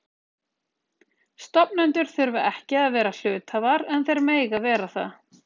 Stofnendur þurfa ekki að vera hluthafar en þeir mega vera það.